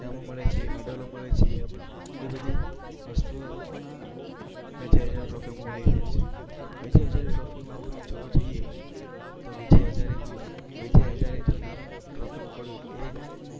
ઈનામો મળે છે મેડલો મળે છે. એ બધી વસ્તુઓ વિજય હઝારે ટ્રોફીમાં મળી રહે છે. વિજય હઝારે ટ્રોફીમાં તમે જોવા જઈએ તો વિજય હઝારેમાં વિજય હઝારે જે નામ જે ટ્રોફીનું પડ્યું એ